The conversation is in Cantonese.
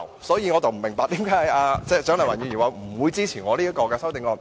因此，我不明白為何蔣麗芸議員表示不會支持我的修正案。